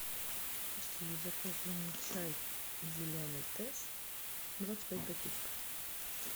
закажи мне чай зеленый тесс двадцать пять пакетиков